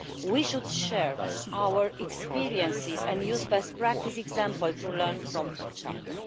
We should share our experiences and use best practice examples to learn from each other.